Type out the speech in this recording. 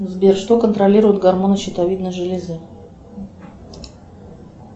сбер что контролируют гормоны щитовидной железы